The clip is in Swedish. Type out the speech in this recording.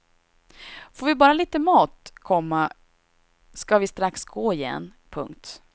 Får vi bara lite mat, komma ska vi strax gå igen. punkt